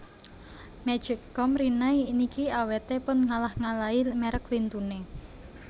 Magic com Rinnai niki awete pun ngalah ngalahi merk lintune